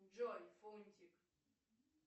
джой фунтик